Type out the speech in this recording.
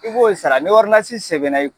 I b'o sara ni sɛbɛn na